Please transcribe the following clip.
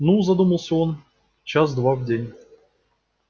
ну задумался он час-два в день